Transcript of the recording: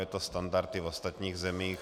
Je to standard i v ostatních zemích.